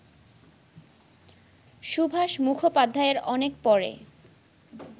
সুভাষ মুখোপাধ্যায়ের অনেক-পরে